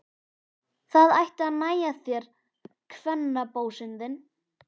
Það ætti að nægja þér, kvennabósinn þinn!